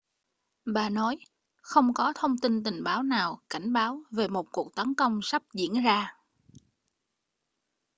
bà nói không có thông tin tình báo nào cảnh báo về một cuộc tấn công sắp diễn ra